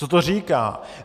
Co to říká?